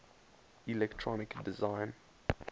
electronic design